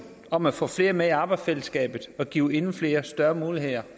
om at få flere med i arbejdsfællesskabet og give endnu flere større muligheder